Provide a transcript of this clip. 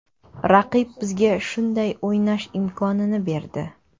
Raqib bizga shunday o‘ynash imkonini berdi.